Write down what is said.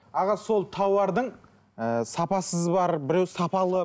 аға сол тауардың ы сапасыз бар біреуі сапалы